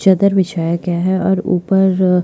चादर बिछाया गया है और ऊपर--